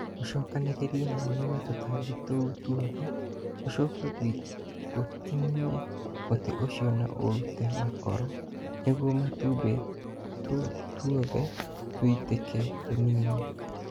Ũcokanĩrĩrie na ũniine tũtambi tũu twothe, ũcoke ũtiniĩ mũtĩ ũcio na ũrute makoro nĩguo matũmbe tũu twothe tũtuĩke tũnini.